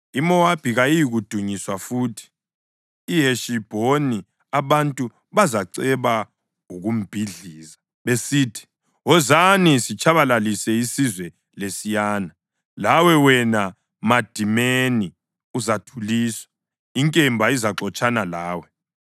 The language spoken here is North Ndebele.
IMowabi kayiyikudunyiswa futhi; eHeshibhoni abantu bazaceba ukumbhidliza: besithi, ‘Wozani sitshabalalise isizwe lesiyana.’ Lawe, wena Madimeni uzathuliswa; inkemba izaxotshana lawe.